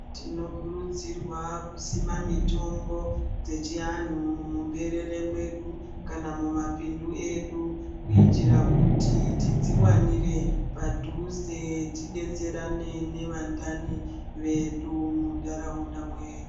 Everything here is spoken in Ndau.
Tinokurudzirwawo kusima mitombo dzechivantu muberere medu kana mumapindu edu kuita kuti tidziwanire padhuze tidetserane nevandani vedu mundaraunda .